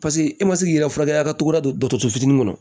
Paseke e ma se k'i yɛrɛ furakɛ a ka togo la don dɔ fitiinin kɔnɔ